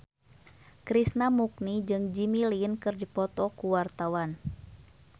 Krishna Mukti jeung Jimmy Lin keur dipoto ku wartawan